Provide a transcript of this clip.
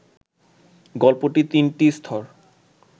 গল্পটি তিনটি স্তর